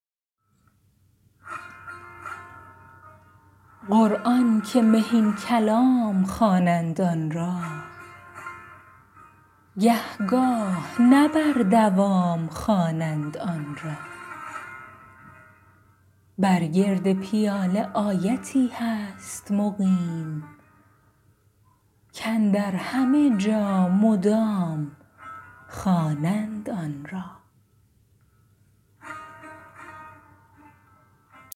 قرآن که مهین کلام خوانند آن را گه گاه نه بر دوام خوانند آن را بر گرد پیاله آیتی هست مقیم کاندر همه جا مدام خوانند آن را